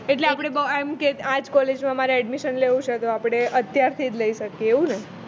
એટકે આપણે એમ કે આ જ coallge માં જ મારે admission લેવું છે તો આપણે અત્યારથી જ લઇ શકીયે એવું ને